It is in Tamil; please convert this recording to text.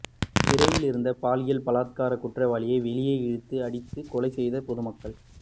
சிறையில் இருந்து பாலியல் பலாத்கார குற்றவாளியை வெளியே இழுத்து அடித்துக் கொலை செய்த பொதுமக்கள்